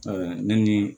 ne ni